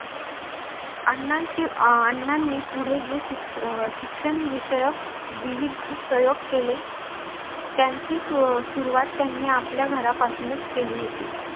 अण्णांची अह अण्णांनी पुढे जे शिक्ष शिक्षण विषयक विविध प्रयोग केले त्यांची सुरुवात त्यांनी आपल्या घरापासूनच केली होती.